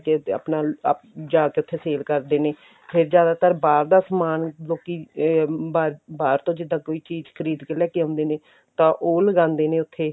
ਤੇ ਆਪਣਾ ਅਪ ਜਾ ਕੇ ਉੱਥੇ sale ਕਰਦੇ ਨੇ ਫਿਰ ਜ਼ਿਆਦਾਤਰ ਬਾਹਰ ਦਾ ਸਮਾਨ ਲੋਕੀ ਇਹ ਬਾਹਰ ਤੋਂ ਜਿੱਦਾਂ ਕੋਈ ਚੀਜ਼ ਖਰੀਦ ਕੇ ਲੈਕੇ ਆਉਂਦੇ ਨੇ ਤਾਂ ਉਹ ਲਗਾਉਂਦੇ ਨੇ ਉੱਥੇ